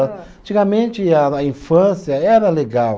Antigamente a na infância era legal.